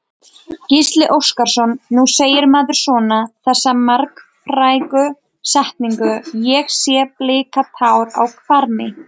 Gísli Óskarsson: Nú segir maður svona, þessa margfrægu setningu, sé ég blika tár á hvarmi?